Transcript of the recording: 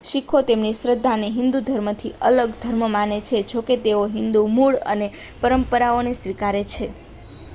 શીખો તેમની શ્રદ્ધાને હિંદુ ધર્મથી અલગ ધર્મ માને છે જોકે તેઓ હિંદુ મૂળ અને પરંપરાઓને સ્વીકારે છે